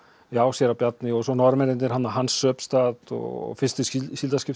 já séra Bjarni og svo Norðmennirnir Hans Söbstad og fyrsti